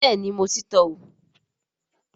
Bẹ́ẹ̀ni mo ti tọ́ wò